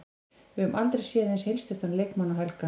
Við höfum aldrei séð eins heilsteyptan leikmann og Helga.